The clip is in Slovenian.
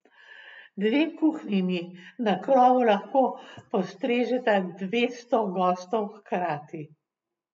Dve kuhinji na krovu lahko postrežeta dvesto gostov hkrati.